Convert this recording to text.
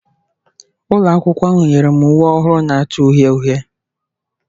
Ụlọ akwụkwọ ahụ nyere m uwe ọhụrụ na-acha uhie uhie